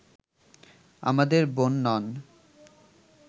আমাদের বোন নন